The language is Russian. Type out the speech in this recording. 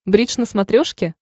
бридж на смотрешке